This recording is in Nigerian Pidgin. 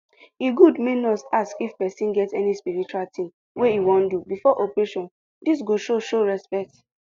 e good make nurse ask if sick pesin get any spiritual tin wey e wan do before operation dis go show show respect